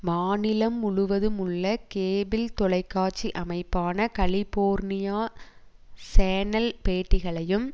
மாநிலம் முழுவதுமுள்ள கேபிள் தொலைக்காட்சி அமைப்பான கலிபோர்னியா சேனல் பேட்டிகளையும்